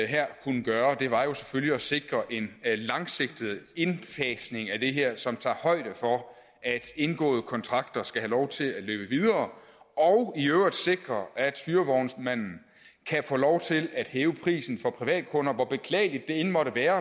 her kunne gøre var jo selvfølgelig at sikre en langsigtet indfasning af det her som tager højde for at indgåede kontrakter skal have lov til at løbe videre og i øvrigt sikrer at hyrevognsmanden kan få lov til at hæve prisen for privatkunder hvor beklageligt det end måtte være